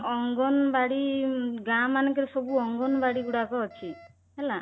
ଅଙ୍ଗନବାଡି ଗାଁ ମାନଙ୍କରେ ସବୁ ଅଙ୍ଗନବାଡି ଗୁଡାକ ଅଛି ହେଲା